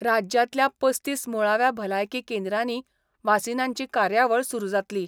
राज्यांतल्या पस्तीस मुळाव्या भलायकी केंद्रांनी वासिनांची कार्यावळ सुरू जातली.